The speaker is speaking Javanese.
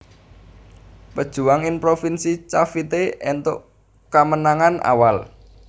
Pejuwang ing provinsi Cavite éntuk kamenangan awal